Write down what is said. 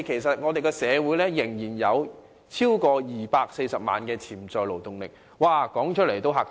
香港社會仍然有超過240萬潛在勞動人口，說出來也嚇怕人。